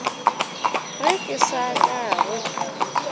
ge ke se ka go